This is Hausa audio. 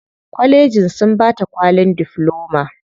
Kwallejin sun bata kwalin difloma.